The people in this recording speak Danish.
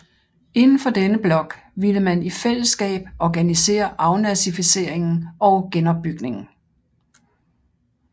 Indenfor denne blok ville man i fællesskab organisere afnazificeringen og genopbygningen